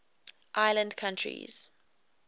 island countries